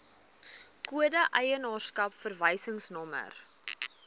kode eienaarskap verwysingsnommer